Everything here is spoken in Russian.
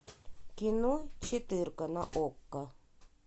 кино четырка на окко